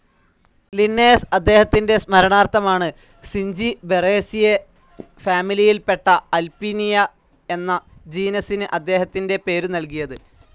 Linnaeus അദ്ദേഹത്തിന്റെ സ്മരണാർഥമാണ് Zingiberaceae ഫാമിലിയിൽപ്പെട്ട അല്പീനിയ എന്ന ജീനസിന് അദ്ദേഹത്തിന്റെ പേരു നൽകിയത്.